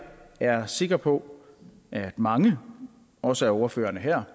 er sikker på at mange også af ordførerne her